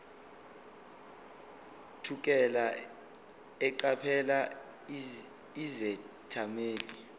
thukela eqaphela izethameli